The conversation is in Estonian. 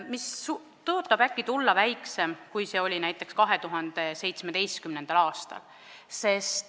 See arv tõotab sel aastal tulla väiksem, kui see oli näiteks 2017. aastal.